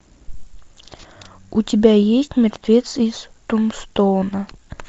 у тебя есть мертвец из тумстоуна